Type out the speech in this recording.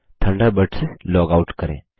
Thunderbird से log out करें